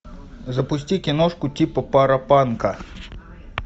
запусти киношку типа паропанка